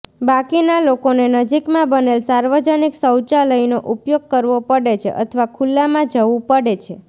બાકીના લોકોને નજીકમાં બનેલ સાર્વજનિક શૌચાલયનો ઉપયોગ કરવો પડે છે અથવા ખુલામાં જવું પડે છે